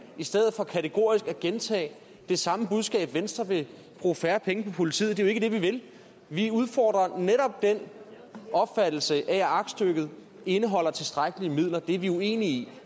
i stedet for kategorisk at gentage det samme budskab at venstre vil bruge færre penge på politiet det er jo ikke det vi vil vi udfordrer netop den opfattelse af at aktstykket indeholder tilstrækkelige midler det er vi uenige i